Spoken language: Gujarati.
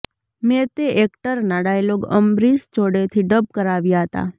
મેં તે એક્ટરના ડાયલોગ અમરીશ જોડેથી ડબ કરાવ્યા હતા